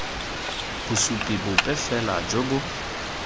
bosupi bope fela jo bo